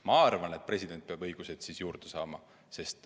Ma arvan, et president peab õigusi juurde saama.